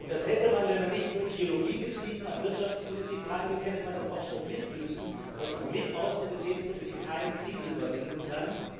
Und man hätte wenn man nicht nur ideologiegetrieben an Wirtschaftspolitik herangeht auch schon wissen müssen, dass man mit Austeritätspolitik keine Krise überwinden kann.